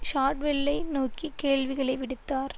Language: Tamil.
ஷாட்வெல்லை நோக்கி கேள்விகளை விடுத்தார்